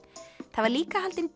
það var líka haldin